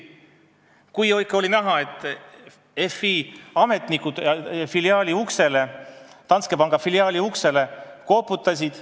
Kui ikka Finantsinspektsiooni ametnikud Danske panga filiaali uksele koputasid ...